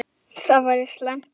Það væri slæmt, ef